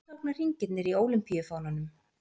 Hvað tákna hringirnir í ólympíufánanum?